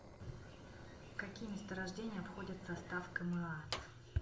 какие месторождения входят в состав кма